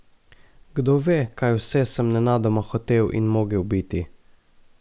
Kdo ve, kaj vse sem nenadoma hotel in mogel biti.